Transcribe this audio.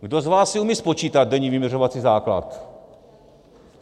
Kdo z vás si umí spočítat denní vyměřovací základ?